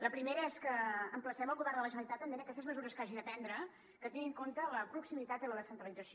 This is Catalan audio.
la primera és que emplacem el govern de la generalitat també en aquestes mesures que hagi de prendre que tingui en compte la proximitat i la descentralització